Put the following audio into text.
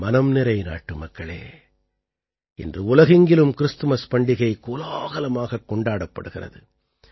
என் மனம் நிறை நாட்டுமக்களே இன்று உலகெங்கிலும் கிறிஸ்துமஸ் பண்டிகை கோலாகலமாகக் கொண்டாடப்படுகிறது